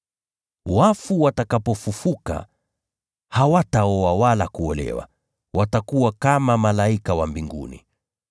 Wafu watakapofufuka, hawataoa wala kuolewa, bali watakuwa kama malaika wa mbinguni.